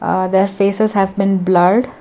a there faces has been blurred.